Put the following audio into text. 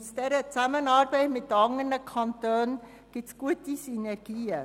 Aus der Zusammenarbeit mit anderen Kantonen ergeben sich gute Synergien.